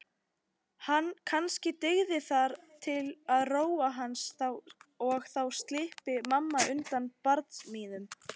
Kannski dygði það til að róa hann og þá slyppi mamma undan barsmíðunum.